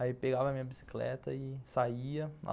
Aí pegava a minha bicicleta e saía.